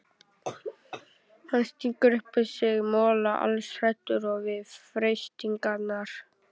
Hann stingur upp í sig mola, alls óhræddur við freistingarnar.